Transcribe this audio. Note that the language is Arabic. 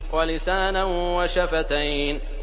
وَلِسَانًا وَشَفَتَيْنِ